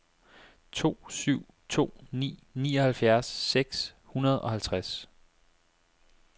to syv to ni nioghalvfjerds seks hundrede og halvtreds